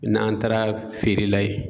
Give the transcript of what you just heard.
N'an taara feere la ye